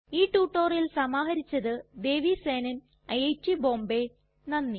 ഈ റ്റുറ്റൊരിയൽ സമാഹരിച്ചത് ദേവി സേനൻ ഐറ്റ് ബോംബേ നന്ദി